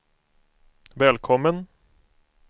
välkommen